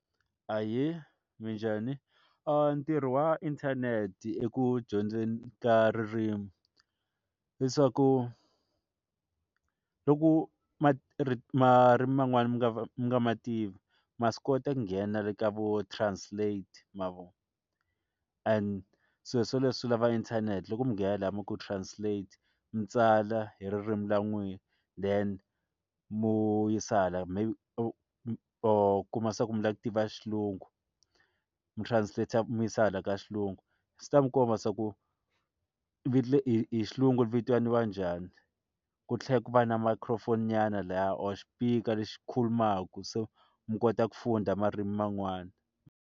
Ahee, minjhani? ntirho wa inthanete eku dyondzeni ka ririmi leswaku loku ma marimi man'wani mi nga mi nga ma tiva ma swi kota nghena le ka vo translate ma vona and sweswo leswi lava inthanete loko mi nghena la mi ku translate mi tsala hi ririmi ra n'wina then mo yisa hala maybe or u kuma leswaku mi lava ku tiva xilungu mi translate mi yisa hala ka xilungu swi ta mi komba leswaku hi xilungu ri vitaniwa njhani ku tlhe ku va na microphone nyana lahaya or xipikara lexi khulumaka so mi kota ku dyondza marimi man'wana.